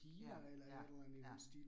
Ja ja ja